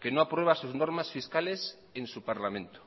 que no aprueba sus normas fiscales en su parlamento